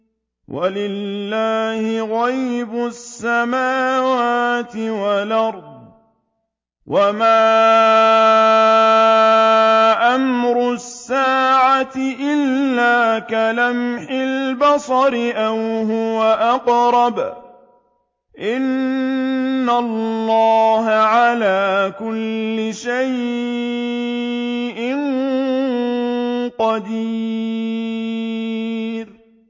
وَلِلَّهِ غَيْبُ السَّمَاوَاتِ وَالْأَرْضِ ۚ وَمَا أَمْرُ السَّاعَةِ إِلَّا كَلَمْحِ الْبَصَرِ أَوْ هُوَ أَقْرَبُ ۚ إِنَّ اللَّهَ عَلَىٰ كُلِّ شَيْءٍ قَدِيرٌ